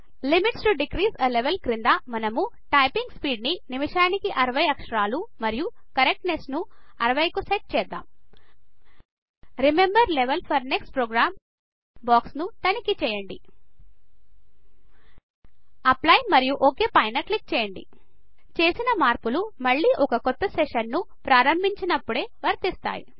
limits to decrease a level క్రింద మనము typing speed ను నిమిషానికి 60 అక్షరాలు మరియు కరెక్ట్నెస్ ను 60 కు సెట్ చేద్దాం remember level for next program box ను తనిఖీ చేయండి అప్లై మరియు ఒక్ పైన క్లిక్ చేయండి చేసిన మార్పులు మళ్ళీ ఒక కొత్త సెషన్ ను ప్రారంభించినప్పుడే వర్తిస్తాయి